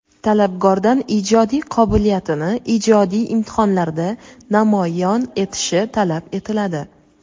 Talabgordan ijodiy qobiliyatini ijodiy imtihonlarda namoyon etishi talab etiladi.